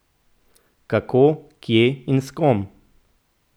Kako, kje in s kom?